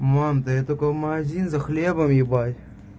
мам да я только в магазин за хлебом ебать